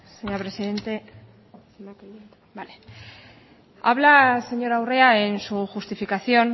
señora presidente habla señora urrea en su justificación